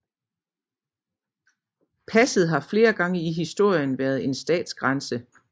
Passet har flere gange i historien været en statsgrænse